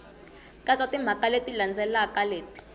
katsa timhaka leti landzelaka leti